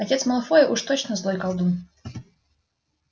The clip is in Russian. отец малфоя уж точно злой колдун